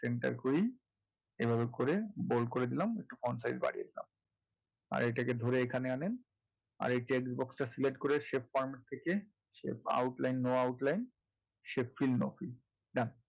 center করি, এভাবে করে bold করে দিলাম size বাড়িয়ে দিলাম আর এটাকে ধরে এখানে আনেন আর text box টা select করে shaip format করে সেই outline no outline এ এসে shaip fild no field done